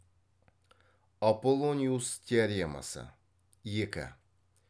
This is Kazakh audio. аполлониус теоремасы екі